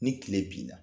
Ni tile binna